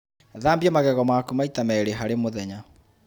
Thambia magego maku maita merĩ harĩ mũthenya